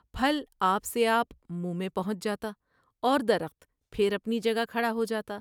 پھل آپ سے آپ منہ میں پہنچ جاتا اور درخت پھر اپنی جگہ کھڑا ہو جا تا ۔